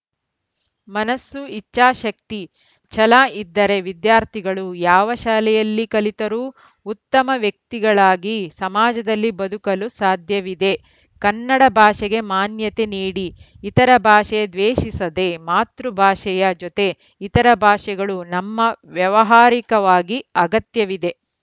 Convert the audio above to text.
ಮನಸ್ಸು ಇಚ್ಚಾಶಕ್ತಿ ಛಲ ಇದ್ದರೆ ವಿದ್ಯಾರ್ಥಿಗಳು ಯಾವ ಶಾಲೆಯಲ್ಲಿ ಕಲಿತರೂ ಉತ್ತಮ ವ್ಯಕ್ತಿಗಳಾಗಿ ಸಮಾಜದಲ್ಲಿ ಬದುಕಲು ಸಾಧ್ಯವಿದೆ ಕನ್ನಡ ಭಾಷೆಗೆ ಮಾನ್ಯತೆ ನೀಡಿ ಇತರ ಭಾಷೆ ದ್ವೇಷಿಸದೆ ಮಾತೃ ಭಾಷೆಯ ಜೊತೆ ಇತರ ಭಾಷೆಗಳು ನಮ್ಮ ವ್ಯವಹಾರಿಕವಾಗಿ ಅಗತ್ಯವಿದೆ